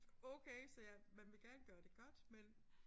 Okay så jeg man vil gerne gøre det godt men